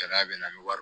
Gɛlɛya bɛ na ni wari ye